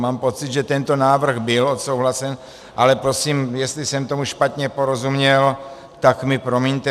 Mám pocit, že tento návrh byl odsouhlasen, ale prosím, jestli jsem tomu špatně porozuměl, tak mi promiňte.